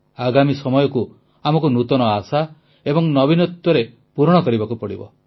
ଆଗାମୀ ସମୟକୁ ଆମକୁ ନୂତନ ଆଶା ଏବଂ ଉଦ୍ଦୀପନା ସହ ପୂରଣ କରିବାକୁ ହେବ